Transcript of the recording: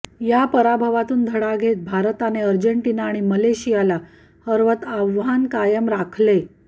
या पराभवातून धडा घेत भारताने अर्जेटिना आणि मलेशियाला हरवत आव्हान कायम राखले